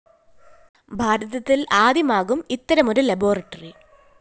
ഭാരതത്തില്‍ ആദ്യമായാകും ഇത്തരമൊരു ലബോറട്ടറി